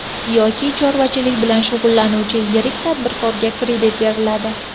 Yoki chorvachilik bilan shug‘ullanuvchi yirik tadbirkorga kredit beriladi.